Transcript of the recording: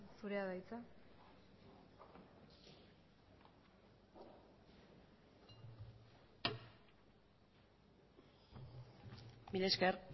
zurea da hitza mila ezker